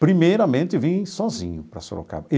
Primeiramente, vim sozinho para Sorocaba.